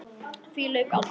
Því lauk aldrei.